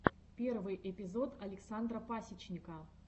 первый эпизод александра пасечника